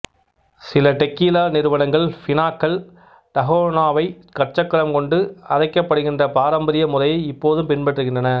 சில டெக்கீலா நிறுவனங்கள் பினாக்கள் டஹோனாவைக் கற்சக்கரம் கொண்டு அரைக்கப்படுகின்ற பாரம்பரிய முறையை இப்போதும் பின்பற்றுகின்றன